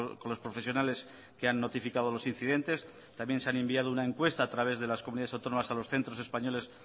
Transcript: con los profesionales que han notificado los incidentes también se ha enviado una encuesta a través de las comunidades autónomas a los centros españoles